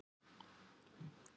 Undir þetta skal tekið.